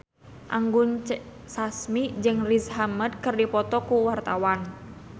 Anggun C. Sasmi jeung Riz Ahmed keur dipoto ku wartawan